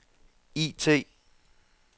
IT